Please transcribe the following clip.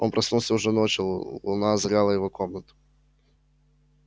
он проснулся уже ночью луна озаряла его комнату